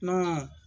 Kɔn